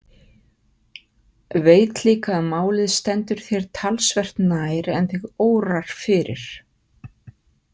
Veit líka að málið stendur þér talsvert nær en þig órar fyrir.